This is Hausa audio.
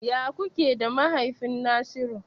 Ya kuke da mahaifin Nasiru?